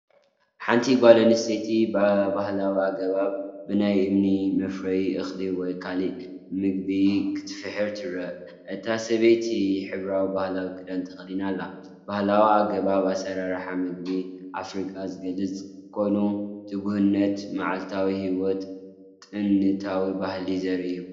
ሓንቲ ጓል ኣንስተይቲ ብባህላዊ ኣገባብ ብናይ እምኒ መፍረ እኽሊ ወይ ካልእ መግቢ ክትፍሕር ትርአ። እታ ሰበይቲ ሕብራዊ ባህላዊ ክዳን ተኸዲና ኣላ። ባህላዊ ኣገባብ ኣሰራርሓ መግቢ ኣፍሪቃ ዝገልጽ ኮይኑ፡ ትጉህነትን መዓልታዊ ህይወትን ጥንታዊ ባህልን ዘርኢ እዩ።